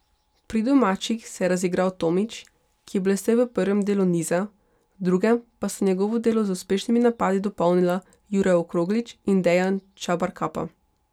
Pri domačih se je razigral Tomić, ki je blestel v prvem delu niza, v drugem pa sta njegovo delo z uspešnimi napadi dopolnila Jure Okroglič in Dejan Čabarkapa.